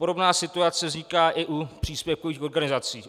Podobná situace vzniká i u příspěvkových organizací.